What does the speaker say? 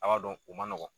A b'a dɔn o man nɔgɔn